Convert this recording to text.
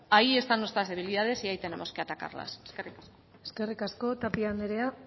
ahí están nuestras debilidades y ahí tenemos que atacarlas eskerrik asko eskerrik asko tapia anderea